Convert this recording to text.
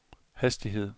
hastighed